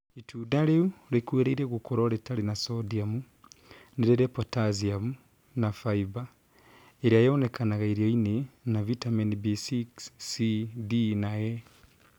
Itunda rĩu rĩkuhĩrĩirie gũkorwo rĩtarĩ na sodium, ni rĩrĩ potassium na fibre ĩrĩa yonekaga irio-inĩ na Vitameni B6, C, D na E